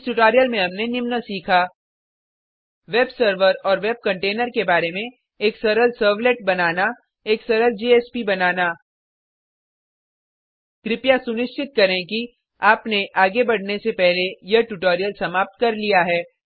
इस ट्यूटोरियल में हमने निम्न सीखा वेब सर्वर और वेब कंटेनर के बारे में एक सरल सर्वलेट बनाना एक सरल जेएसपी बनाना कृपया सुनिश्चित करें कि आपने आगे बढ़ने से पहले यह ट्यूटोरियल समाप्त कर लिया है